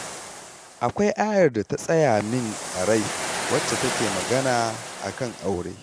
Akwai ayar da ta tsaya min a rai wacce take magana a kan aure